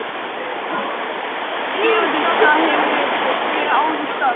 GVENDUR: Það hafið þér áður sagt.